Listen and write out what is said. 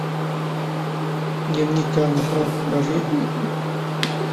дневник анны франк покажи